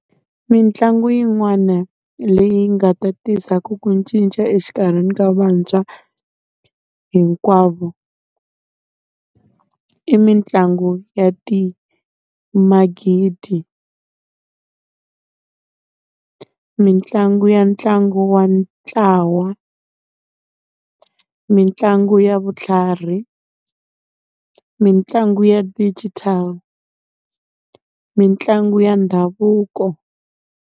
Mitlangu yin'wana leyi nga ta tisa ku ku cinca exikarhini ka vantshwa hinkwavo, i mitlangu ya magidi. Mitlangu ya ntlangu wa ntlawa, mitlangu ya vutlhari, mitlangu ya digital, mitlangu ya ndhavuko.